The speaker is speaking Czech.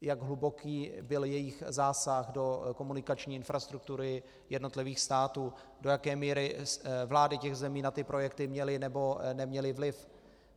Jak hluboký byl jejich zásah do komunikační infrastruktury jednotlivých států, do jaké míry vlády těch zemí na ty projekty měly, nebo neměly vliv.